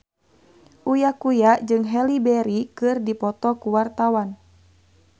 Uya Kuya jeung Halle Berry keur dipoto ku wartawan